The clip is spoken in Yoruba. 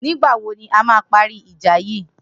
Nigbà wó ni àmà pàrí ijà yi?